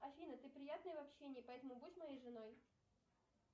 афина ты приятная в общении поэтому будь моей женой